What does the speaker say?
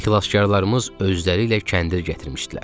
Xilaskarlarımız özləriylə kəndir gətirmişdilər.